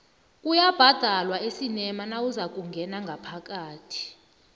kuyabhadalwa esinema nawuzakungena ngaphakathi